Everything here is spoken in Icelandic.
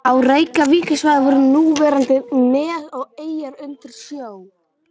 Á Reykjavíkursvæðinu voru núverandi nes og eyjar undir sjó.